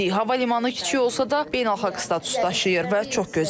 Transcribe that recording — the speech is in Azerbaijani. Hava limanı kiçik olsa da beynəlxalq status daşıyır və çox gözəldir.